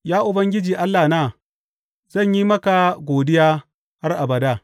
Ya Ubangiji Allahna, zan yi maka godiya har abada.